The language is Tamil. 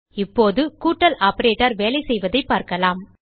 இப்போது கூட்டல் ஆப்பரேட்டர் வேலைசெய்வதைப் பார்க்கலாம்